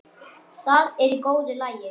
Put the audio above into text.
Það er í góðu lagi,